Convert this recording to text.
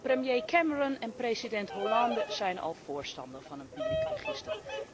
Premier Cameron en president Hollande zijn al voorstander van een publiek register.